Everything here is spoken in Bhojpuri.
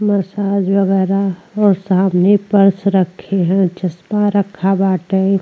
मसाज वगैरा और सामने पर्स रखी है चश्मा रखा बाटे।